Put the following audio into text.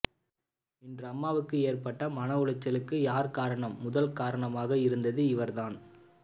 இன்று அம்மாவுக்கு ஏற்பட்ட மன உலைச்சலுக்கு யார் காரணம் முதல் காரணமாக இருந்தது இவர்தான்